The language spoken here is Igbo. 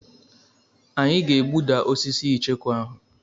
Anyị ga-egbuda osisi icheku ahụ.